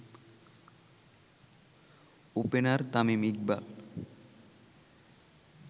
opener Tamim Iqbal